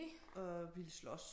Og ville slås